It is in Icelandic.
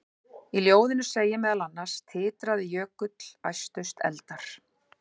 Í ljóðinu segir meðal annars: Titraði jökull, æstust eldar,